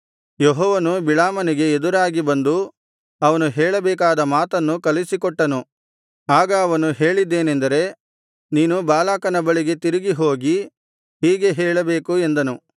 ಯೆಹೋವನು ಬಿಳಾಮನಿಗೆ ಎದುರಾಗಿ ಬಂದು ಅವನು ಹೇಳಬೇಕಾದ ಮಾತನ್ನು ಕಲಿಸಿಕೊಟ್ಟನು ಆಗ ಅವನು ಹೇಳಿದ್ದೇನೆಂದರೆ ನೀನು ಬಾಲಾಕನ ಬಳಿಗೆ ತಿರುಗಿ ಹೋಗಿ ಹೀಗೆ ಹೇಳಬೇಕು ಎಂದನು